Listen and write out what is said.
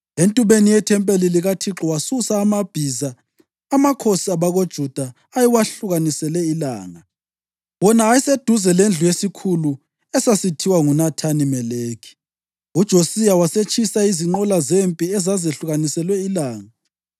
Entubeni yethempeli likaThixo wasusa amabhiza amakhosi abakoJuda ayewahlukanisele ilanga, wona ayeseduze lendlu yesikhulu esasithiwa nguNathani-Meleki. UJosiya wasetshisa izinqola zempi ezazehlukaniselwe ilanga.